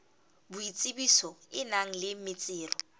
boitsebiso e nang le metsero